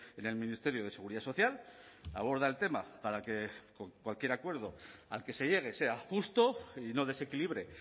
en el ministerio de seguridad social aborda el tema para que cualquier acuerdo al que se llegue sea justo y no desequilibre